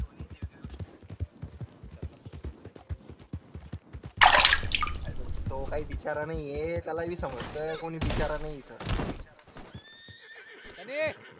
तो काय बिचारा नाहीये त्याला बी समजतं कोणी बिचारा नाही इथं